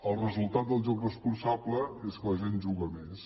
el resultat del joc responsable és que la gent juga més